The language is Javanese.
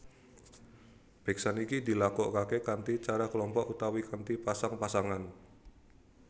Beksan iki dilakokake kanthi cara kelompok utawa kanthi pasang pasangan